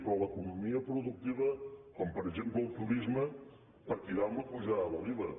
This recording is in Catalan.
però l’economia productiva com per exemple el turisme patirà amb la pujada de l’iva